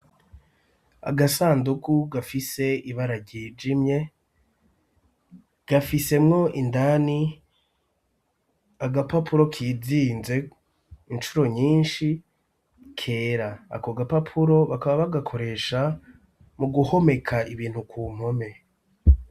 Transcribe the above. Agasandugu gafise ibara ryijimye gafisemwo indani agapapuro kizinze incuro nyinshi kera ,ako gapapuro bakaba bagakoresha mu guhomeka ibintu ku mpome.